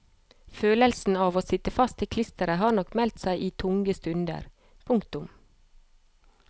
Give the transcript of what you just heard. Følelsen av å sitte fast i klisteret har nok meldt seg i tunge stunder. punktum